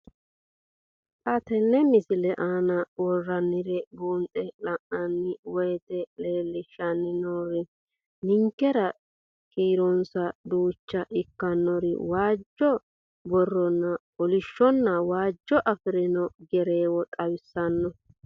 Xa tenne missile aana worroonniri buunxe la'nanni woyiite leellishshanni noori ninkera kiironsa duuchcha ikkinore ; waajjo, barronna kolishshonna waajjo afirino gereewo xawissanno.